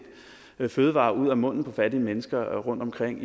tager fødevarer ud af munden på fattige mennesker rundt omkring